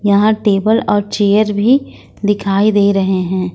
यहां टेबल और चेयर भी दिखाई दे रहे है।